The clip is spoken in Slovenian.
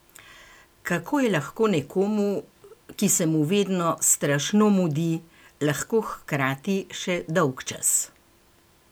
Kako je lahko nekomu, ki se mu vedno strašno mudi, lahko hkrati še dolgčas?